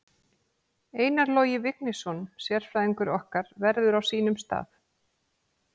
Einar Logi Vignisson sérfræðingur okkar verður á sínum stað.